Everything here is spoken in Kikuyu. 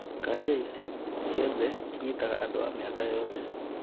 Kanja ici ciothe inyitaga andu a mĩaka yothe